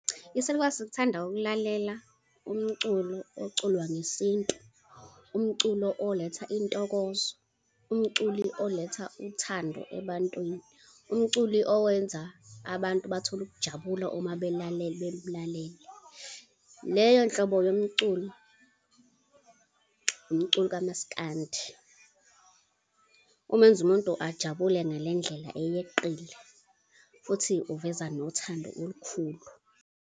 Isalukwazi sithanda ukulalela umculo oculwa ngesintu, umculo oletha intokozo, umculi oletha uthando ebantwini, umculi owenza abantu bathole ukujabula uma bemlalele. Leyo nhlobo yomculo, umculo kamaskandi. Umenza umuntu ajabule ngale ndlela eyeqile, futhi uveza nothando olukhulu.